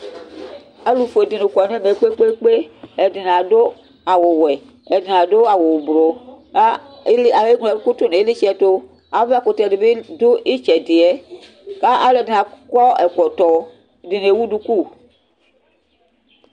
Alʋfue dini kɔnʋ ɛmɛ kpe kpe kpe, ɛdini adʋ awʋwɛ, ɛdini adʋ awʋ ʋblʋ, kʋ eŋlo ɛkʋtʋ nʋ ilitsɛ ɛtʋ Avakʋtɛ dibi dʋ itsɛ di yɛ, kʋ alʋ ɛdini akɔ ɛkɔtɔ ɛdini ewʋ duku